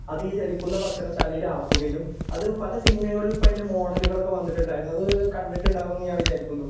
അതീ ചലിക്കുന്ന ഭക്ഷണശാലയിൽ ആക്കുകയും അത് പല സിനിമകളിലും ഇപ്പോ അതിൻ്റെ മോഡല്കളൊക്കെ വന്നിട്ടുണ്ടായിരുന്നു അത് കണ്ടിട്ടുണ്ടാവും എന്ന് ഞാൻ വിചാരിക്കുന്നു.